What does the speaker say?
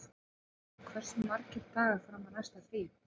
Arnljótur, hversu margir dagar fram að næsta fríi?